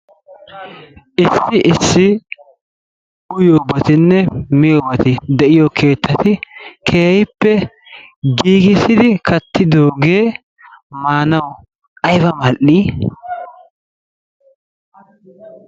Issi issi uyiyobatinne miyobati de'iyo keettati keehippe giigissidi kattidoogee maanawu ayba mal"ii!